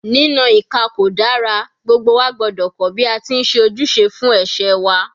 Ní na ìka kò dára, gbogbo wa gbọ́dọ̀ kọ́ bí a ti ń ṣe ojúṣe fún ẹ̀ṣẹ̀ wa.